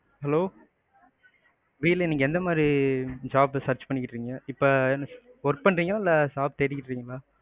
hello புரியல நீங்க எந்தமாதிரி job search பண்ணிட்டு இருக்கீங்க? இப்ப work பண்றிங்களா, இல்ல தேடிட்டு இருக்கீங்களா?